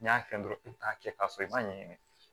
N'i y'a kɛ dɔrɔn i be taa kɛ k'a sɔrɔ i m'a ɲɛɲini